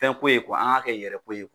Fɛnko ye an k'a kɛ yɛrɛko ye.